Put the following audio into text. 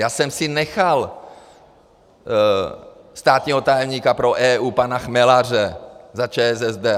Já jsem si nechal státního tajemníka pro EU pana Chmelaře za ČSSD.